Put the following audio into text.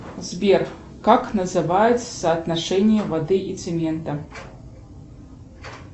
сбер как называется соотношение воды и цемента